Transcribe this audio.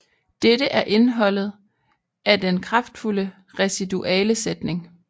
Dette er indeholdet af den kraftfulde residualesætning